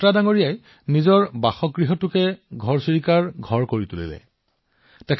বাট্ৰা জীয়ে তেওঁৰ ঘৰটো ঘৰচিৰিকাৰ বাবে আশ্ৰয় স্থানলৈ পৰিণত কৰিছে